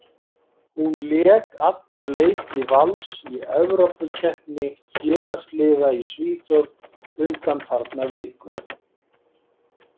Hún lék alla leiki Vals í Evrópukeppni félagsliða í Svíþjóð undanfarna viku.